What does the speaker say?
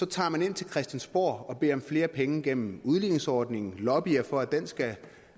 tager man ind til christiansborg og beder om flere penge gennem udligningsordningen lobbyer for at den skal